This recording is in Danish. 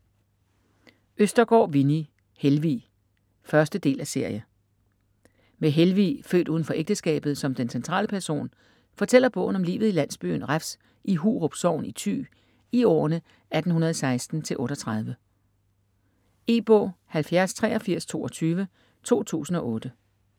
Østergaard, Winni: Helvig 1.del af serie. Med Helvig, født uden for ægteskabet, som den centrale person, fortæller bogen om livet i landbyen Refs i Hurup sogn i Thy i årene 1816 til 1838. E-bog 708322 2008.